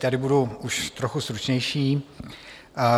Tady budu už trochu stručnější.